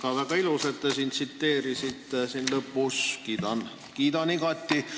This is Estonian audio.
Väga-väga ilus, et te lõpus seda tsiteerisite, kiidan igati.